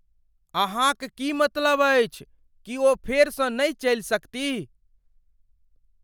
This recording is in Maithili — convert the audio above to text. अहाँक की मतलब अछि? की ओ फेरसँ नहि चलि सकतीह?